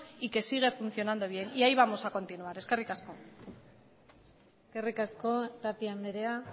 y que sigue funcionando bien y ahí vamos a continuar eskerrik asko eskerrik asko tapia andrea